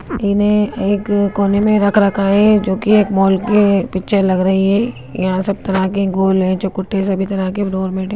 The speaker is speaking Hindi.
इन्हे एक कोने मे रख रखा है जो की एक मॉल की पिक्चर लग रही है यहाँ सब तरह के गोल है चोकुट्टे सभी तरह के डोर मैट हैं।